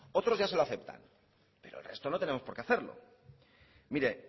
otros ya se lo aceptan pero el resto no tenemos por qué hacerlo miren